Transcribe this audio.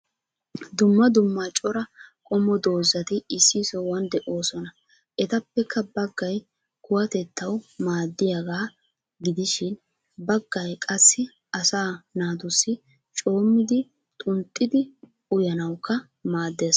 dummaa dummaa cora qommo doozati issi sohuwan de'osonna. etappekka baggay kuwattetawu maaddiyagaa gidishin baggay qassi asaa naatussi coomidi xuunxidi uyyanawukka maaddees.